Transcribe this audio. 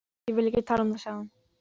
Ég vil ekki tala um það, sagði hún.